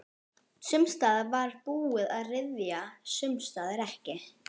Sums staðar var búið að ryðja, sums staðar ekki.